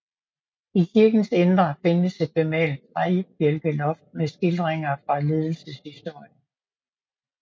I kirkens indre findes et bemalet træbjælkeloft med skildringer fra lidelseshistorien